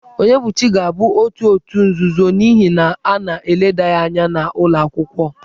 Onyebuchi ga-abụ otu òtù nzuzo n'ihi na a na-eleda ya anya n'ụlọ akwụkwọ.